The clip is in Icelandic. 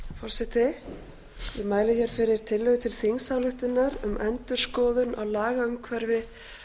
forseti ég mæli hér fyrir tillögu til þingsályktunar um endurskoðun á lagaumhverfi